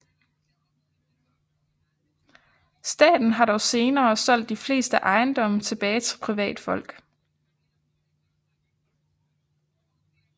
Staten har dog senere solgt de fleste ejendomme tilbage til privatfolk